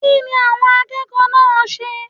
Kínni àwon akékòó náà nse?